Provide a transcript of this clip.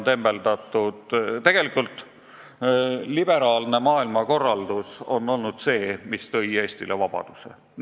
Tegelikult on just liberaalne maailmakorraldus Eestile vabaduse toonud.